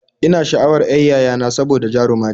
Ina sha'awan y'ar yayana saboda jaruma ce